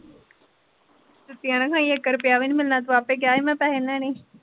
ਜੁੱਤੀਆਂ ਨਾ ਖਾਈ ਇੱਕ ਰੁਪਇਆ ਵੀ ਨਹੀਂ ਮਿਲਣਾ ਤੂੰ ਆਪੇ ਕਿਹਾ ਸੀ ਮੈਂ ਪੈਸੇ ਨਹੀਂ ਲੈਣੇ।